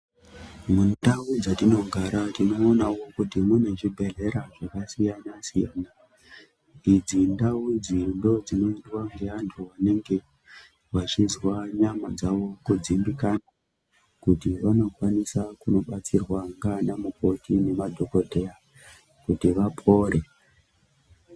Mundau dzatinogara tinoonawo kuti mune zvibhehlera zvakasiyana-siyana. Idzi ndau idzi ndoodzinoindwa ngeantu vanenge vachizwa nyama dzavo kudzimbikana kuti vanokwanisa kunobatsirwa ngaana mukoti nemadhokodheya kuti vapore.